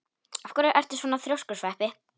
Af hverju ertu svona þrjóskur, Sveppi?